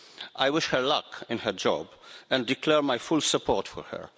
I wish her luck in her job and declare my full support for her.